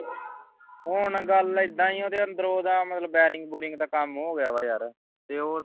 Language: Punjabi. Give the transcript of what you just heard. ਹੁਣ ਗੱਲ ਏਦਾਂ ਹੈ ਜੋ ਉਹਦੇ ਅੰਦਰੋਂ ਮਤਲਬ bearing ਬੂਰਿੰਗ ਦਾ ਕੰਮ ਹੋ ਗਿਆ ਮਤਲਬ ਤੇ